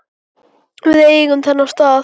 Við eigum þennan stað